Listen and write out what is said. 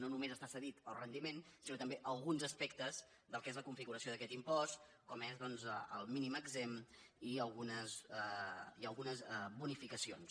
no només està cedit el rendiment sinó també alguns aspectes del que és la configuració d’aquest impost com és el mínim exempt i algunes bonificacions